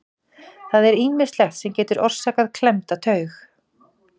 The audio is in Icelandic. Það er ýmislegt sem getur orsakað klemmda taug.